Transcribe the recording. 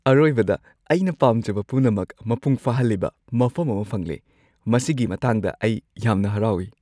ꯑꯔꯣꯏꯕꯗ, ꯑꯩꯅ ꯄꯥꯝꯖꯕ ꯄꯨꯝꯅꯃꯛ ꯃꯄꯨꯡ ꯐꯥꯍꯜꯂꯤꯕ ꯃꯐꯝ ꯑꯃ ꯐꯪꯂꯦ ꯃꯁꯤꯒꯤ ꯃꯇꯥꯡꯗ ꯑꯩ ꯌꯥꯝꯅ ꯍꯔꯥꯎꯏ꯫